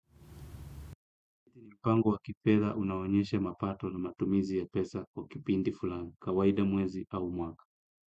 Mpango wa kifedha unaonyesha mapato na matumizi ya pesa kwa kipindi fulani, kawaida mwezi au mwaka.